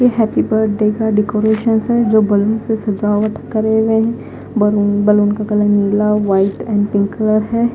ये happy birthday का decorations है जो बलून से सजावट करे हुए बलू बलून का कलर नीला व्हाइट एंड पिंक कलर है।